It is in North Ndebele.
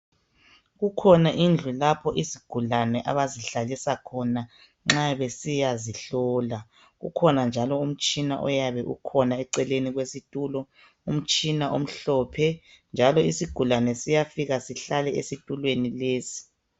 Kukhona indlu lapho izigulane abazihlalisa khona nxa besiya zihlola. Kukhona njalo umtshina oyabe ukhona eceleni kwesitulo. Umtshina omhlophe njalo isigulane siyafika sihlale esitulweni lesi.